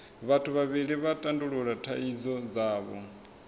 vhathu vhavhili vha tandulula thaidzo dzavho